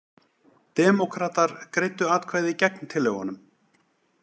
Demókratar greiddu atkvæði gegn tillögunum